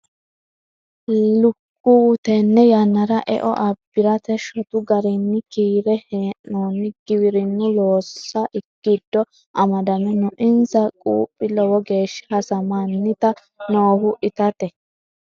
Lukkuwu tene yannara eo abbirate shotu garinni kiire hee'nonni giwirinu loossa giddo amadame no insa quphi lowo geeshsha hasamaniti noohu itate.